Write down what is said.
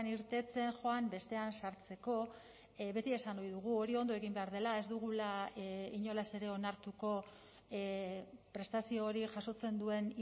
irteten joan bestean sartzeko beti esan ohi dugu hori ondo egin behar dela ez dugula inolaz ere onartuko prestazio hori jasotzen duen